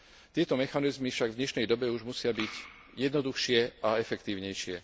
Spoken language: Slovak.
Tieto mechanizmy však v dnešnej dobe už musia byť jednoduchšie a efektívnejšie.